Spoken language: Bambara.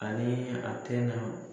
Ani a tɛna.